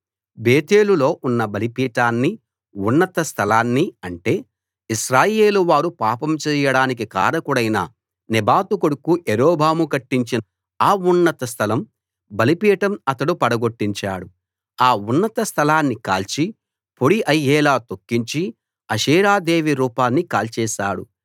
బేతేలులో ఉన్న బలిపీఠాన్ని ఉన్నత స్థలాన్ని అంటే ఇశ్రాయేలువారు పాపం చెయ్యడానికి కారకుడైన నెబాతు కొడుకు యరొబాము కట్టించిన ఆ ఉన్నత స్థలం బలిపీఠం అతడు పడగొట్టించాడు ఆ ఉన్నత స్థలాన్ని కాల్చి పొడి అయ్యేలా తొక్కించి అషేరాదేవి రూపాన్ని కాల్చేశాడు